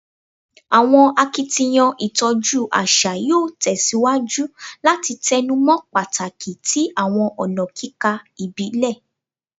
Awọn akitiyan itọju aṣa yoo tẹsiwaju lati tẹnumọ pataki ti awọn ọna kika ibile